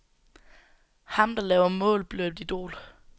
Ham, der laver mål, bliver et idol.